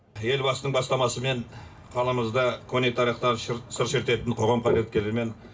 елбасының бастамасымен қаламызда көне тарихтан сыр шертетін қоғам қайраткерлері мен